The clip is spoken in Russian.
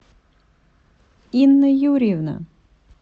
инна юрьевна